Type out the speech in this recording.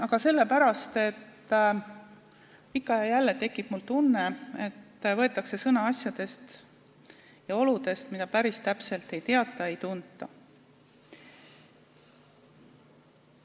Aga sellepärast, et ikka ja jälle tekib mul tunne, et võetakse sõna asjade ja olude teemal, mida päris täpselt ei teata ega tunta.